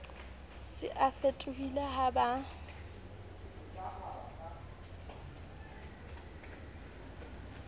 se o fetohile ha ba